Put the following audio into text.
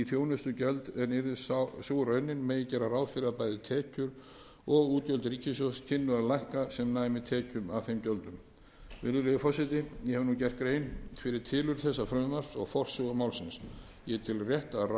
þjónustugjöld en yrði sú raunin má gera ráð fyrir að bæði tekjur og útgjöld ríkissjóðs kynnu að lækka sem næmi tekjum af þeim gjöldum virðulegi forseti ég hef gert grein fyrir tilurð þessa frumvarps og forsögu málsins ég tel rétt að